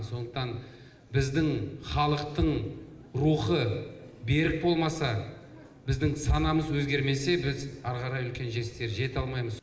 сондықтан біздің халықтың рухы берік болмаса біздің санамыз өзгермесе біз ары қарай үлкен жетістіктер жете алмаймыз